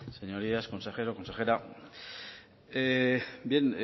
señorías consejero consejera bien